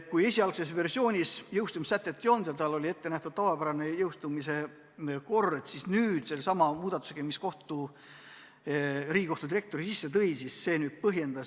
Kui esialgses versioonis jõustumissätet ei olnud ja oli ette nähtud tavapärane jõustumise kord, siis nüüd selle muudatuse tõttu, mis Riigikohtu direktori sisse tõi, see säte on.